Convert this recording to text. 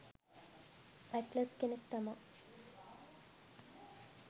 Atlas කෙනෙක් තමා.